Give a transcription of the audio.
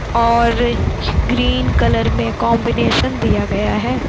और green colour में combination दिया गया है।